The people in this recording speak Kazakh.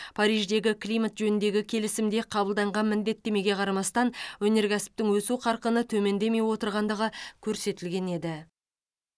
париждегі климат жөніндегі келісімде қабылданған міндеттемеге қарамастан өнеркәсіптің өсу қарқыны төмендемей отырғандығы көрсетілген еді